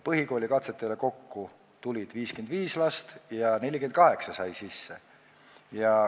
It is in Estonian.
Põhikoolikatsetele tuli 55 last ja 48 said sisse.